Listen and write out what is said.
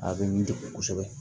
A bɛ n degun kosɛbɛ